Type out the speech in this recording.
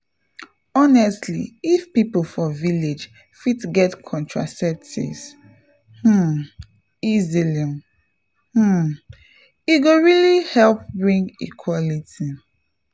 honestly if people for village fit get contraceptives um easily um e go really help bring equality.